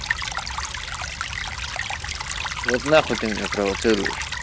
вот на хуй ты меня провоцируешь